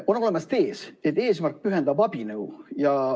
On olemas tees, et eesmärk pühitseb abinõu.